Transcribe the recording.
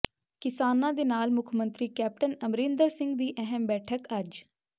ਕਿਸਾਨਾਂ ਦੇ ਨਾਲ ਮੁੱਖ ਮੰਤਰੀ ਕੈਪਟਨ ਅਮਰਿੰਦਰ ਸਿੰਘ ਦੀ ਅਹਿਮ ਬੈਠਕ ਅੱਜ